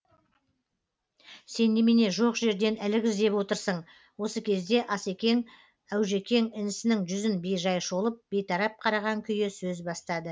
сен немене жоқ жерден ілік іздеп отырсың осы кезде ас екең әужекең інісінің жүзін бейжай шолып бейтарап қараған күйі сөз бастады